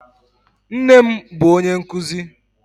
Nnem bụ onye nkuzi